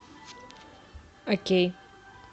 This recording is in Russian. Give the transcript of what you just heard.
окей